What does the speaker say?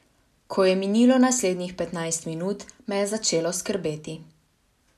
Ko je minilo naslednjih petnajst minut, me je začelo skrbeti.